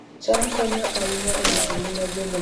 cham konyo ahinya e rito ngima jogo modhier